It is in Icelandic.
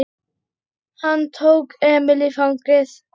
Hann tók Emil í fangið.